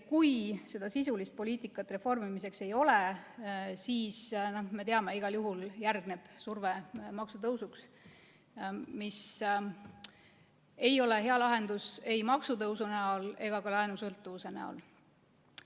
Kui seda sisulist poliitikat reformimiseks ei ole, siis me teame, et igal juhul järgneb surve maksutõusuks, mis ei ole hea lahendus ei maksutõusu näol ega ka laenusõltuvuse näol.